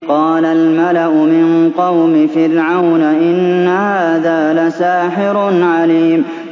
قَالَ الْمَلَأُ مِن قَوْمِ فِرْعَوْنَ إِنَّ هَٰذَا لَسَاحِرٌ عَلِيمٌ